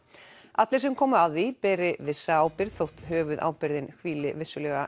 allir sem komu að því beri vissa ábyrgð þótt höfuðábyrgðin hvíli vissulega